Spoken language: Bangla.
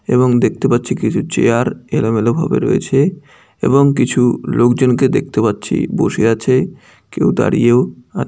এবং দেখতে পাচ্ছি কিছু চেয়ার এলো মেলো ভাবে রয়েছে এবং কিছু লোকজনকে দেখতে পাচ্ছি বসে আছে কেউ দাঁড়িয়েও আ।